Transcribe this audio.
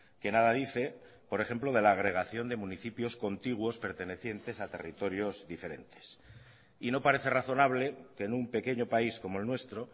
que nada dice por ejemplo de la agregación de municipios contiguos pertenecientes a territorios diferentes y no parece razonable que en un pequeño país como el nuestro